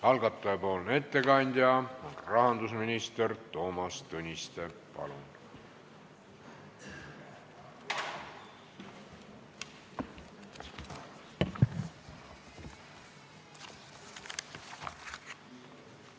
Algataja nimel ettekandja rahandusminister Toomas Tõniste, palun!